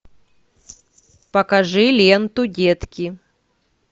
покажи ленту детки